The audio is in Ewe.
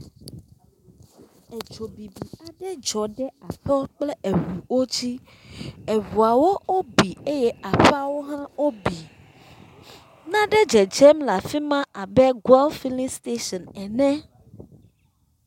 Edzobibi aɖe dzɔ ɖe aƒewo kple eʋuwo dzi, eʋuawo wo bi eye aƒeawo hã wo bi, na ɖe dzedzem le afima abe goil filling station ene.